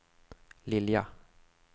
Lilja